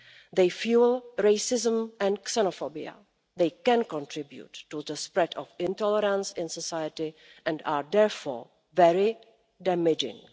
They fuel racism and xenophobia, they can contribute to the spread of intolerance in society and they are therefore very damaging.